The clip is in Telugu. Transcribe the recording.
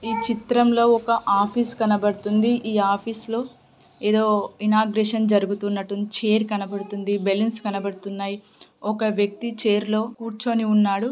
ఈ చిత్రంలో ఒక ఆఫీస్ కనబడుతోంది. ఈ ఆఫీస్ లో ఇనాగ్రేషన్ జరుగుతున్నట్టుంది. చైర్ కనపడుతుంది. బెలూన్స్ కనబడుతున్నాయి. ఒక వ్యక్తి చైర్ కూర్చుని ఉన్నాడు.